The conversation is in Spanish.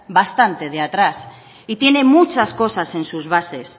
bastante de atrás y tiene muchas cosas en sus bases